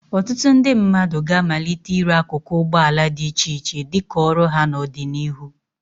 Ọtụtụ ndị mmadụ ga-amalite ire akụkụ ụgbọ ala dị iche iche dị ka ọrụ ha n'ọdịnihu.